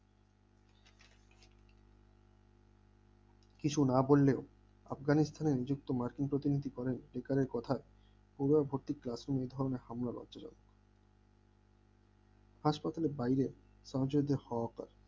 কিছু না বললে আফগানিস্তানের নিযুক্ত মার্কিন প্রতিনিধি বলেন বিজ্ঞানের কথায় পুরো ভর্তি classroom এ এই ধরনের হামলা লজ্জাজনক হাসপাতালের বাইরে সংযোজ্য হওয়া কার